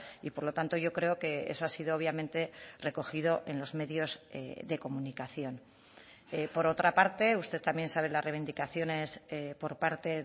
y por lo tanto yo creo que eso ha sido obviamente recogido en los medios de comunicación por otra parte usted también sabe las reivindicaciones por parte